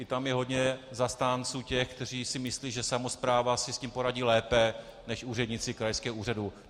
I tam je hodně zastánců těch, kteří si myslí, že samospráva si s tím poradí lépe než úředníci krajského úřadu.